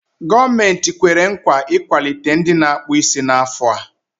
Gọọmenti kwere nkwa ị ikwalite ndị na-akpụ isí n'afọ a.